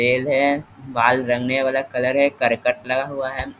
तेल है बाल रंगने वाला कलर है करकट लगा हुआ है।